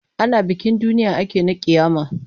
Ana bikin duniya ake na ƙiyama.